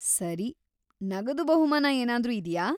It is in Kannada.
ಸರಿ, ನಗದು ಬಹುಮಾನ ಏನಾದ್ರೂ ಇದ್ಯಾ?